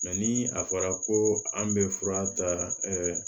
ni a fɔra ko an bɛ fura ta